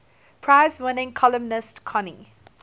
prize winning columnist connie